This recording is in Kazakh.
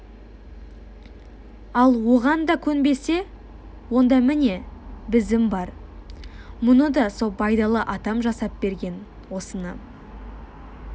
ал оған да көнбесе онда міне бізім бар мұны да со байдалы атам жасап берген осыны